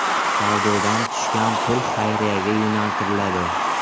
Savdodan tushgan pul xayriyaga yo‘naltiriladi.